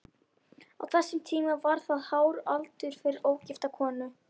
Á þessum tíma var það hár aldur fyrir ógifta konu.